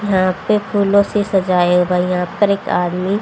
यहां पे फूलों से सजाया गया पर एक आदमी--